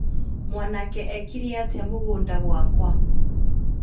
Mwanake ekire atĩa mũgũnda gwakwa